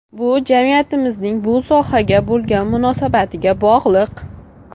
Bu jamiyatimizning bu sohaga bo‘lgan munosabatiga bog‘liq.